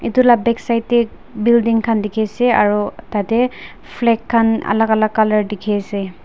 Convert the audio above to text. etu la backside te building khan dikhi ase aru tate flag khan alak alak colour dikhi ase.